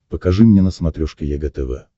покажи мне на смотрешке егэ тв